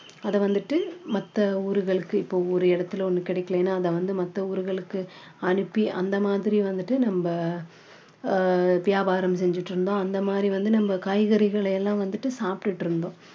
அதை வந்துட்டு மத்த ஊருகளுக்கு இப்போ ஒரு இடத்துல ஒண்ணு கிடைக்கலன்னா அதை வந்து மத்த ஊருகளுக்கு அனுப்பி அந்த மாதிரி வந்துட்டு நம்ம ஆஹ் வியாபாரம் செஞ்சிட்டு இருந்தோம் அந்த மாதிரி வந்து நம்ம காய்கறிகளை எல்லாம் வந்துட்டு சாப்பிட்டுட்டு இருந்தோம்